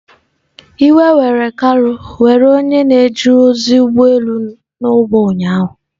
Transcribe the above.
Iwe were Kalu were were onye na-eje ozi ụgbọ elu nọ n'ụgbọ ahụ ụnyahụ.